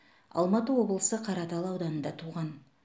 алматы облысы қаратал ауданында туған